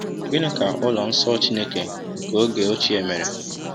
Gịnị ka ụlọ nsọ Chineke nke oge ochie mere?